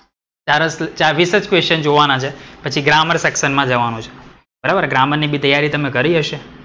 ચાર જ, વીસ જ question જોવાના છે. પછી ગ્રામર સેક્શન માં જવાનું છે. બરાબર, ગ્રામર ની બી તૈયારી તમે કરી હશે.